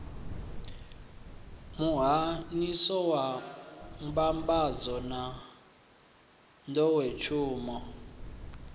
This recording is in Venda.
muhahsho wa mbambadzo na nḓowetshumo